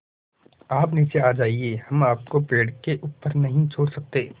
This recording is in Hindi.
आप नीचे आ जाइये हम आपको पेड़ के ऊपर नहीं छोड़ सकते